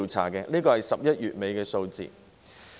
這是截至11月底的數字。